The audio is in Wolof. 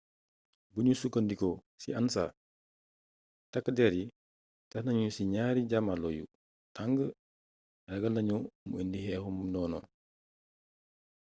bugnu sukka ndiko ci ansa takkdér yi tax nagnu ci gnaari jamarlo yu tang ragalnagnu mu indi xééxu ndono